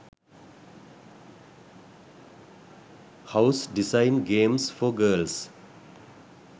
house design games for girls